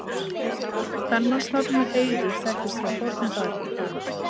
Kvenmannsnafnið Heiður þekkist frá fornu fari.